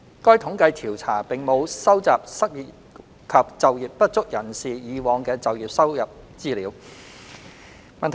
該統計調查並無收集失業及就業不足人士以往的就業收入資料。